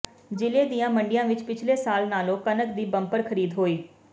ਜ਼ਿਲ੍ਹੇ ਦੀਆਂ ਮੰਡੀਆਂ ਵਿਚ ਪਿਛਲੇ ਸਾਲ ਨਾਲੋਂ ਕਣਕ ਦੀ ਬੰਪਰ ਖ਼ਰੀਦ ਹੋਈ